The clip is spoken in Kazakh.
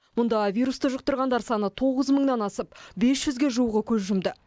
мұнда вирусты жұқтырғандар саны тоғыз мыңнан асып бес жүзге жуығы көз жұмды